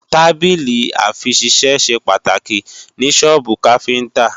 Tábìlì-àfiṣisẹ́ ṣe pàtàkì ní sọ́ọ́bù káfíntá